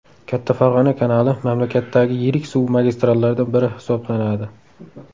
Katta Farg‘ona kanali mamlakatdagi yirik suv magistrallardan biri hisoblanadi.